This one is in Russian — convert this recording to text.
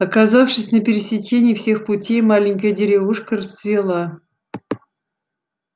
оказавшись на пересечении всех путей маленькая деревушка расцвела